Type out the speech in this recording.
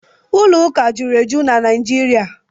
Ụlọ ụka jụrụ eju na Naijiria.